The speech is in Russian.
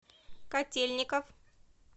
котельников